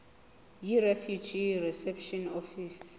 yirefugee reception office